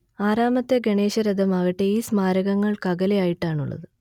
ആറാമത്തെ ഗണേശരഥമാകട്ടെ ഈ സ്മാരകങ്ങൾക്കകലെ ആയിട്ടാണുള്ളത്